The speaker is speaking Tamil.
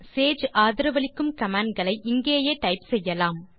சேஜ் ஆதரவளிக்கும் கமாண்ட்களை இங்கேயே டைப் செய்யலாம்